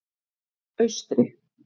Austri